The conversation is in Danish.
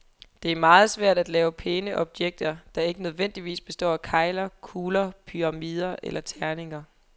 Det er meget svært at lave pæne objekter, der ikke nødvendigvis består af kegler, kugler, pyramider eller terninger.